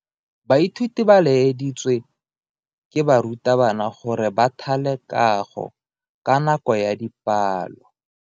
Baithuti ba laeditswe ke morutabana gore ba thale kago ka nako ya dipalo.